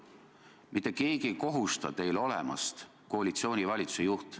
Mitte keegi ei kohusta teid olema vaid koalitsioonivalitsuse juht.